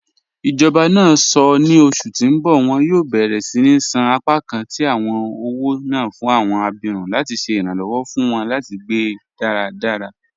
Ijọba náà sọ́ ní ọṣù tí n bọ wọn yóò bẹ̀rẹ̀ síni ṣan apakàn tí awọn ọwọ́ náà fún awọn àbírún láti ṣè iranlọwọ fún wọn láti gbẹ́ daradara.